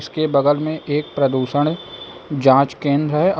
इसके बगल में एक प्रदूषण जांच केंद्र है औ--